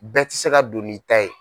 Bɛɛ ti se ka don'i ta ye.